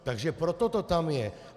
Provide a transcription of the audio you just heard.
Takže proto to tam je!